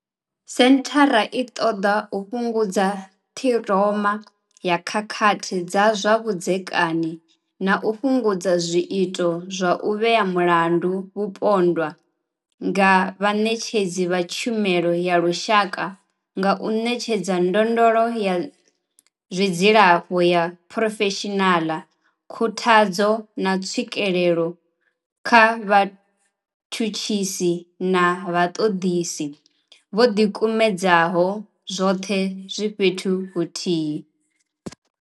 Senthara i ṱoḓa u fhungudza ṱhiroma ya khakhathi dza zwa vhudzekani na u fhungudza zwiito zwa u vhea mulandu mupondwa nga vhaṋetshedzi vha tshumelo ya lushaka nga u ṋetshedza ndondolo ya zwa dzilafho ya phurofeshinala, khuthadzo, na tswikelo kha vhatshutshisi na vhaṱoḓisi vho ḓikumedzaho, zwoṱhe zwi fhethu huthihi.